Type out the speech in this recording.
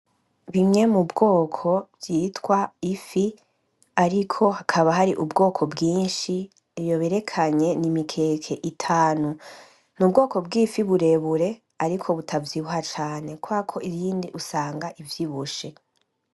Bimwe mw'ubwoko vyitwa ifi ariko hakaba hari ubwoko bwinshi, iyo berekanye ni imikeke itanu. Ni ubwoko bwifi burebure ariko butavyibuha cane kubera ko iyindi usanga ivyibushe.